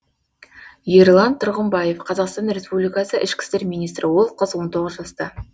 ерлан тұрғымбаев қазақстан республикасы ішкі істер министрі ол қыз он тоғыз жаста